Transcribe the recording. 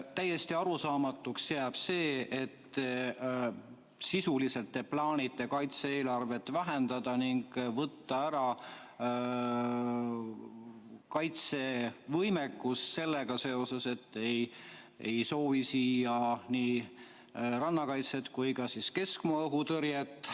Täiesti arusaamatuks jääb see, et sisuliselt te plaanite kaitse-eelarvet vähendada ning võtta ära kaitsevõimekus sellega seoses, et te ei soovi siia ei rannakaitset ega keskmaa õhutõrjet.